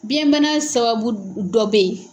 Biyɛn bana sababu dɔ be ye